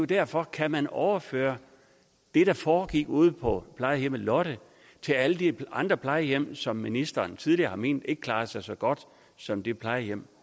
derfor kan man overføre det der foregik ude på plejehjemmet lotte til alle de andre plejehjem som ministeren tidligere har ment ikke klarede sig så godt som det plejehjem